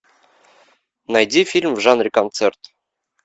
найди фильм в жанре концерт